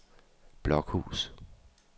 Blokhus